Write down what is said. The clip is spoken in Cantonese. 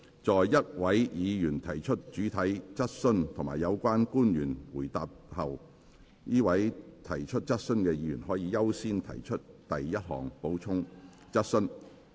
在一位議員提出主體質詢及有關的官員回答後，該位提出質詢的議員可優先提出第一項補充質詢。